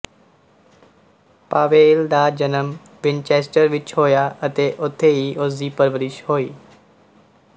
Powell ਦਾ ਜਨਮ Winchester ਵਿੱਚ ਹੋਇਆ ਅਤੇ ਉਥੇ ਹੀ ਉਸਦੀ ਪਰਵਰਿਸ਼ ਹੋਈ